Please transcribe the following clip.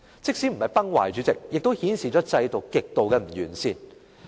即使不是崩壞，主席，這也顯示制度的極度不完善。